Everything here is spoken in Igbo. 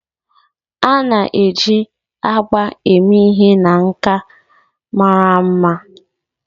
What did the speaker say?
a na-eji agba eme ihe na nka mara mma